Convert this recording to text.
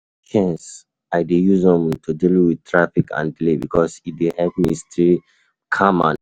Na patience I dey use um to deal um with traffic and delays because e dey help me stay um calm and focused.